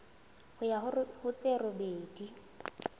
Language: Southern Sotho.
ho ya ho tse robedi